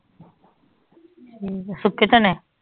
ਠੀਕ ਆ ਸੁੱਖੇ ਚਨੇ